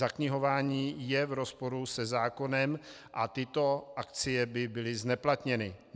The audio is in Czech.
Zaknihování je v rozporu se zákonem a tyto akcie by byly zneplatněny.